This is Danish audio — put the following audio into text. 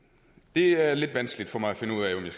det er lidt vanskeligt for mig at finde ud af om jeg